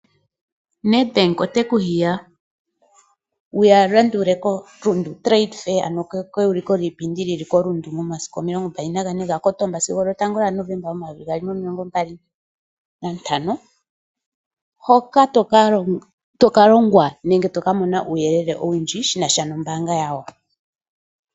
Ned Bank ote ku hiya wu ya landule koRundu Trade Fair ano keyuliko lyiipindi lyili koRundu momasiku omilongo mbali nagane gaKotomba sigo lyotango lyaNovemba momayovi gaali nomilongo mbali nantano hoka toka longwa nenge to ka mona uuyelele owundji shinasha nombanga yawo.